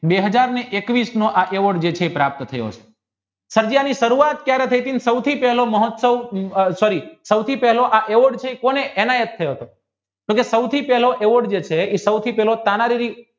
બે હાજરને એકવીશનો આ પ્રાપ્ત થયો છે સભાઈની સરુવાત કયારે થઈટી ને સૌથોઇ પહેલો આ ઓડ છે એ એને જ થયો હતો તો સૌ થી પહેલો ઓડ જે છે એ એ સુધી પહેલો